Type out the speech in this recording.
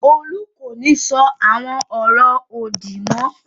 Olú kò ní sọ àwọn ọ̀rọ̀ òdì mọ́.